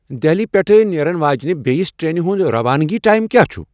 دہلی پیٹھ نیرن واجنِہ بییِس ٹرینِہ ہُند روانگی ٹایم کیا چُھ ؟